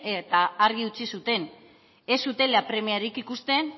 eta argi utzi zuten ez zutela premiarik ikusten